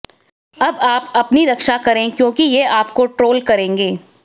अब आप अपनी रक्षा करें क्योंकि ये आपको ट्रोल करेंगे